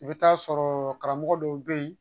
I bɛ taa sɔrɔ karamɔgɔ dɔw bɛ yen